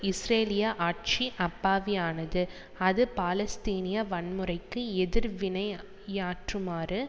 இஸ்ரேலிய ஆட்சி அப்பாவியானது அது பாலஸ்தீனிய வன்முறைக்கு எதிர்வினை யாற்றுமாறு